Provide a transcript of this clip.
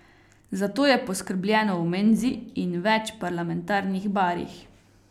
Za to je poskrbljeno v menzi in več parlamentarnih barih.